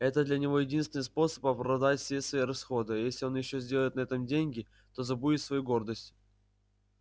это для него единственный способ оправдать все свои расходы а если он ещё сделает на этом деньги то забудет свою гордость